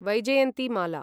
Vaijayanti Mala